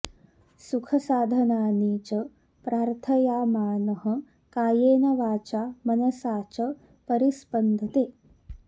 सुखसाधनानि च प्रार्थयामानः कायेन वाचा मनसा च परिस्पन्दते